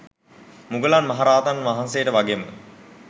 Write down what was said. මුගලන් මහ රහතන් වහන්සේට වගේම